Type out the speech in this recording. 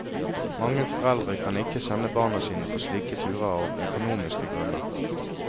Mange foreldre kan ikke sende barna sine på slike turer av økonomiske grunner.